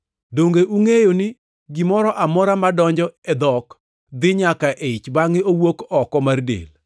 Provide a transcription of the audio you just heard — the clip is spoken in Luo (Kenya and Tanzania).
Donge ungʼeyo ni gimoro amora madonjo e dhok dhi nyaka e ich bangʼe owuok oko mar del?